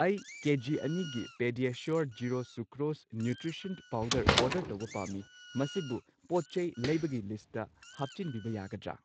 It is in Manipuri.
ꯑꯩ kg PediaSure zero sucrose nutrition powder order ꯇꯧꯕ ꯄꯥꯝꯃꯤ, ꯃꯁꯤꯕꯨ ꯄꯣꯠꯆꯩ ꯂꯩꯕꯒꯤ ꯂꯤꯁꯠꯇ ꯍꯥꯞꯆꯤꯟꯕꯤꯕ ꯌꯥꯒꯗ꯭ꯔꯥ?